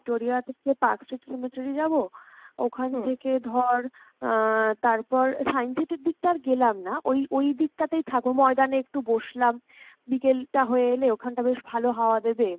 Victoria থেকে Park street যাবো ওখান থেকে ধর আহ তারপর Science city র দিকটা আর গেলাম না, ওই ওই ওইদিক টা তেই থাকবো ময়দানে একটু বসলাম, বিকেল টা হয়ে এলে ওখান টা বেশ ভালো হাওয়া দেবে